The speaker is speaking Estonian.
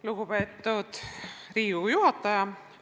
Lugupeetud Riigikogu juhataja!